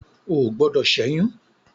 O ò gbọdọ̀ ṣẹ́yún.